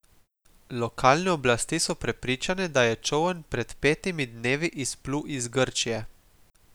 Lokalne oblasti so prepričane, da je čoln pred petimi dnevi izplul iz Grčije.